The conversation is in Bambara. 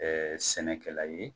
Ɛɛ sɛnɛkɛla ye